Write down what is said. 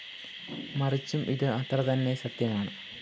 മറിച്ചും ഇത്‌ അത്രതന്നെ സത്യമാണ്‌